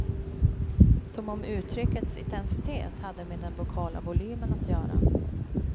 Som om uttryckets intensitet hade med den vokala volymen att göra.